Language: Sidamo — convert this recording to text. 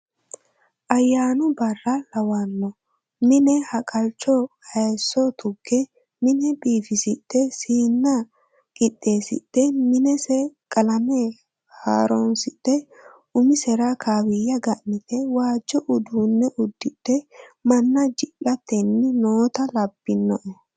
Ayyaanu barra lawano mine haqalchu hayiso tuge mine biifisidhe siina qixeesidhe minese qalame haaronsidhe umisera kawiya ga'nite waajo uduune udidhe manna ji'littanni nootta labbinoe.